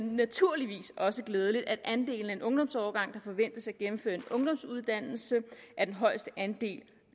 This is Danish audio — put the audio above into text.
naturligvis også glædeligt at andelen af en ungdomsårgang der forventes at gennemføre en ungdomsuddannelse er den højeste andel